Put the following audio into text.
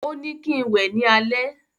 Ó ní kín wẹ ní alẹ́